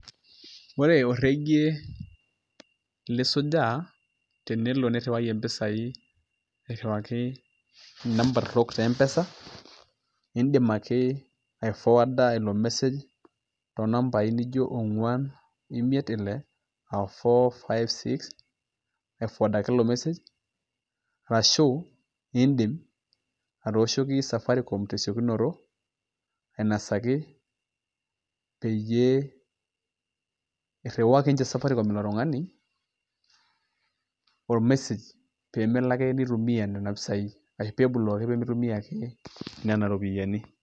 ore orekie lisujaa tenelo niriwayie mpisai, airiwaki namba torok te empesa, nidim ake ai forwarder ilo message too nambai naijo onguan, imiet ile, aah four, five, six. aifowadaki ilo message arashu. iidim atooshokisafaricom tesiokinoto, ainosaki peyie, iriwaki ninche safaricom ilo tungani or message pee melo ake nitumia nena pisai. ashu pee i block pee mitumia ake nena ropiyiani..